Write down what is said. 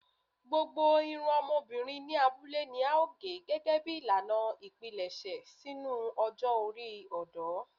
Gbogbo irun ọmọbirin ni abule ni ao ge gẹgẹbi ilana ipilẹṣẹ sinu ọjọ ori ọdọ